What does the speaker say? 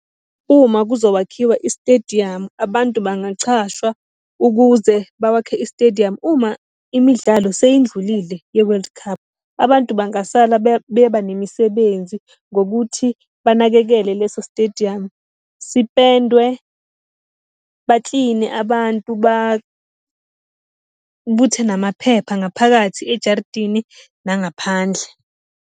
Uma kuzowakhiwa isitediyamu abantu bangachashwa ukuze bawakhe isitediyamu. Uma imidlalo seyindlulile ye-World Cup abantu bangasala beba nemisebenzi ngokuthi banakekele leso sitediyamu, sipendwe, bakline abantu, babuthe namaphepha ngaphakathi ejaridini nangaphandle.